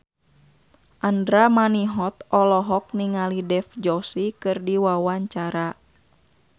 Andra Manihot olohok ningali Dev Joshi keur diwawancara